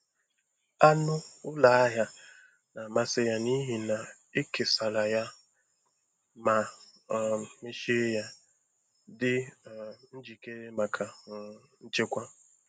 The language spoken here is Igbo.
Anụ ụlọ ahịa na-amasị ya n'ihi na e kesara ya ma um mechie ya, dị um njikere maka um nchekwa.